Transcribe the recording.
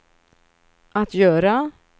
att göra